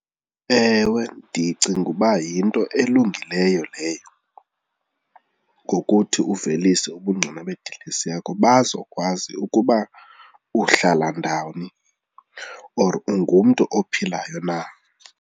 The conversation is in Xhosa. Ewe, ndicinga uba yinto elungileyo leyo ngokuthi uvelise ubungqina bedilesi yakho bazokwazi ukuba uhlala ndawoni or ungumntu ophilayo na.